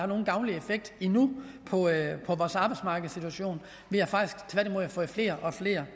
nogen gavnlig effekt endnu på vores arbejdsmarkedssituation vi har faktisk tværtimod desværre fået flere og flere